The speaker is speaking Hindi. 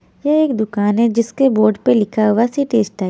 ये एक दुकान है जिसके बोर्ड पे लिखा हुआ है सि_टी स्कै --